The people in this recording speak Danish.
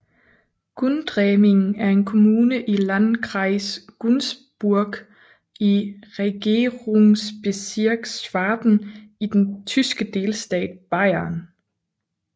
Gundremmingen er en kommune i Landkreis Günzburg i Regierungsbezirk Schwaben i den tyske delstat Bayern